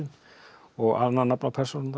og annað nafn á persónurnar